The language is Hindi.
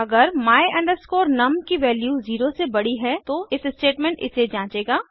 अगर my num की वैल्यू 0 से बड़ी है तो इफ स्टेटमेंट इसे जंचेगा